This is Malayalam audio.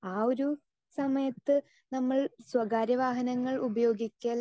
സ്പീക്കർ 2 ആ ഒരു സമയത്ത് നമ്മൾ സ്വകാര്യവാഹനങ്ങൾ ഉപയോഗിക്കൽ